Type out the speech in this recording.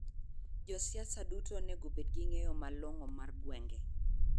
Josiasa duto onego obed gi ny'eyo malong'o mar gwen'ge.